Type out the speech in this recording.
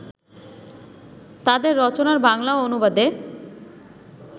তাঁদের রচনার বাংলা অনুবাদে